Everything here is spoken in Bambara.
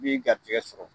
Min garisigɛ sɔrɔ